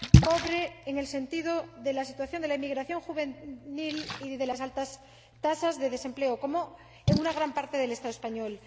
pobre en el sentido de la situación de la emigración juvenil y de las altas tasas de desempleo, como en una gran parte del Estado español.